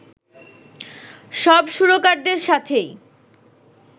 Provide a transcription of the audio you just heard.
সব সুরকারদের সাথেই